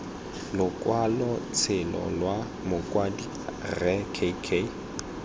lokwalotshelo lwa mokwadi rre k